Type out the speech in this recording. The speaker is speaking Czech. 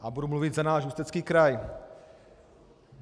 A budu mluvit za náš Ústecký kraj.